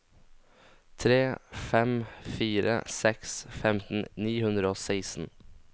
tre fem fire seks femten ni hundre og seksten